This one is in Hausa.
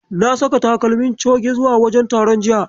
Na saka takalmi coge zuwa wajen taron jiya.